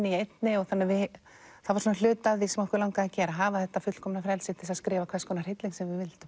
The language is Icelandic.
í einni það var hluti af því sem okkur langaði að gera að hafa þetta fullkomna frelsi til að skrifa hvers konar hrylling sem við vildum